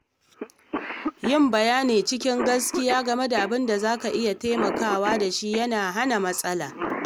Yin bayani cikin gaskiya game da abin da za a iya taimakawa da shi yana hana matsala.